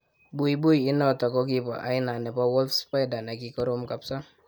Buibui inotik kokibo aina nebo wolf spider nekikorom kapsa